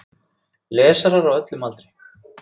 Lesarar á öllum aldri.